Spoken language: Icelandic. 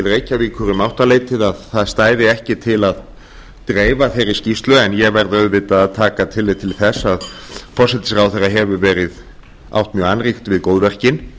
reykjavíkur um áttaleytið að það stæði ekki til að dreifa þeirri skýrslu en ég verð auðvitað að taka tillit til þess að forsætisráðherra hefur átt mjög annríkt við góðverkin